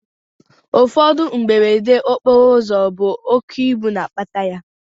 Ụfọdụ mberede okporoụzọ bụ oké ibu na-akpata ya